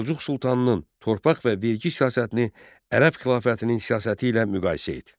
Səlcuq sultanının torpaq və vergi siyasətini Ərəb xilafətinin siyasəti ilə müqayisə et.